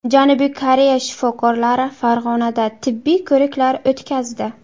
Janubiy Koreya shifokorlari Farg‘onada tibbiy ko‘riklar o‘tkazdi.